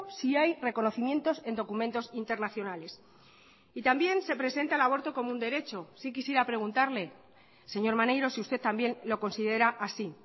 sí hay reconocimientos en documentos internacionales y también se presenta el aborto como un derecho sí quisiera preguntarle señor maneiro si usted también lo considera así